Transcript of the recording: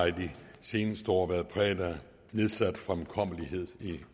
i de seneste år har været præget af nedsat fremkommelighed